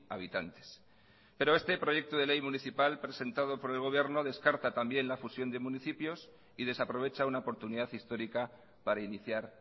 habitantes pero este proyecto de ley municipal presentado por el gobierno descarta también la fusión de municipios y desaprovecha una oportunidad histórica para iniciar